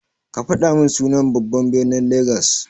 Kafaɗa min sunan babban ɓirnin lagas.